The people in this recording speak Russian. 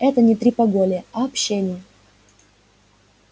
это не трепология а общение